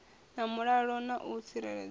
na mulalo na u tsireledzea